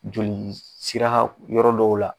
Joli sira yɔrɔ dɔw la